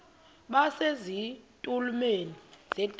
base zitulmeni zedaka